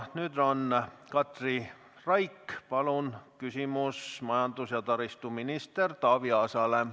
Katri Raik, küsimus majandus- ja taristuminister Taavi Aasale, palun!